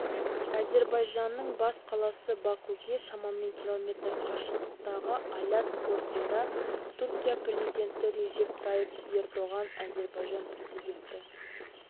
әзербайжанның бас қаласы бакуге шамамен км қашықтықтағы алят портында түркия президенті режеп тайып ердоған әзербайжан президенті